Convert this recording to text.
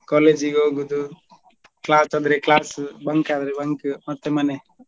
college ಗೆ ಹೋಗುದು class ಆದ್ರೆ class bunk ಆದ್ರೆ bunk ಮತ್ತೆ ಮನೆ.